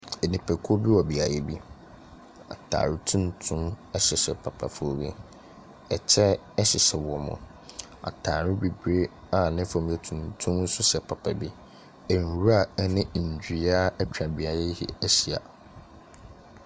Nipakuo bi wɔ beaeɛ bi. Atare tuntum hyehyɛ papafoɔ bi. Ɛkyɛ hyehyɛ wɔn. Atadeɛ bibire a ne fam yɛ tuntum nso hyɛ papa bi. Nwura ne nnua atwa beaeɛ yi ahyia.